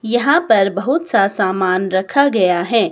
यहां पर बहुत सा सामान रखा गया है।